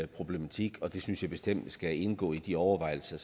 problematik det synes jeg bestemt skal indgå i de overvejelser